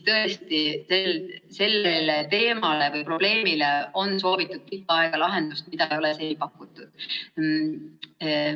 Tõesti, sellele probleemile on pikka aega soovitud lahendust, aga seni ei ole seda pakutud.